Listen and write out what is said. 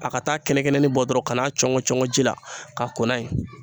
A ka taa kɛnɛ-kɛnɛnin bɔ dɔrɔn ka n'a cɔngɔ ji la k'a ko n'a ye